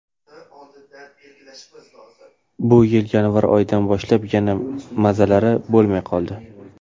Bu yil yanvar oyidan boshlab yana mazalari bo‘lmay qoldi.